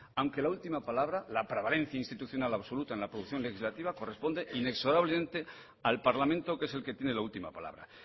aunque la última palabra la prevalencia institucional absoluta en la producción legislativa corresponde inexorablemente al parlamento que es el que tiene la última palabra